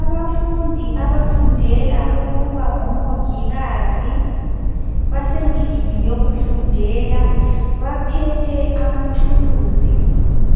Abafundi abafundela ukuba ngomongikazi basendlini yokufundela baphethe amathuluzi